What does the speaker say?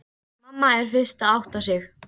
Mamma er fyrst að átta sig: